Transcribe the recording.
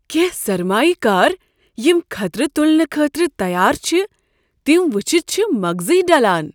کینٛہہ سرمایہ کار یم خطرٕ تلنہٕ خٲطرٕ تیار چھ تم وٕچھتھ چھ مغزٕے ڈلان۔